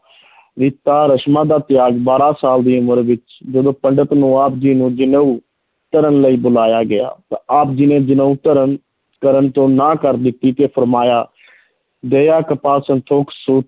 ਰੀਤਾਂ ਰਸਮਾਂ ਦਾ ਤਿਆਗ ਬਾਰਾਂ ਸਾਲ ਦੀ ਉਮਰ ਵਿੱਚ ਜਦੋਂ ਪੰਡਤ ਨੂੰ ਆਪ ਜੀ ਨੂੰ ਜਨੇਊ ਧਾਰਨ ਲਈ ਬੁਲਾਇਆ ਗਿਆ ਤਾਂ ਆਪ ਜੀ ਨੇ ਜਨੇਊ ਧਾਰਨ ਕਰਨ ਤੋਂ ਨਾਂਹ ਕਰ ਦਿੱਤੀ ਤੇ ਫੁਰਮਾਇਆ ਦਇਆ ਕਪਾਹ ਸੰਤੋਖ ਸੂਤ,